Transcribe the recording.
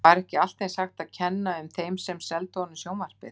Var ekki allt eins hægt að kenna um þeim sem seldu honum sjónvarpið?